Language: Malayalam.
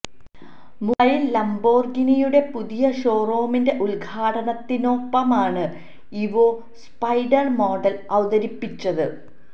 മുംബൈയില് ലംബോര്ഗിനിയുടെ പുതിയ ഷോറൂമിന്റെ ഉദ്ഘാടനത്തിനൊപ്പമാണ് ഇവോ സ്പൈഡര് മോഡല് അവതരിപ്പിച്ചത്